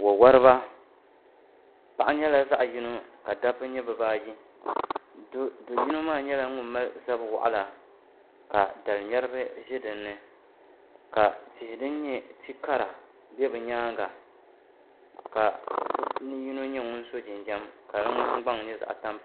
Wawariba paɣa nyɛla zaɣ’ yino ka dabba nyɛ bɛ baayi do’ yino maa nyɛla ŋuni mali zab’ waɣila ka daliŋmɛriba ʒe din ni ka tihi din nyɛ ti’ kara be bɛ nyaaŋa ka bɛ puuni yino nyɛ ŋuni so jinjam ka di ŋmahiŋgbaŋ nyɛ zaɣ’ tampilim